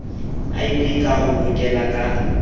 iv ka ho hokela ka